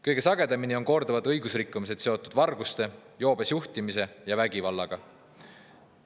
Kõige sagedamini on korduvad õigusrikkumised seotud varguste, joobes juhtimise ja vägivallaga.